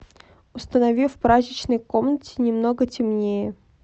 установи в прачечной комнате немного темнее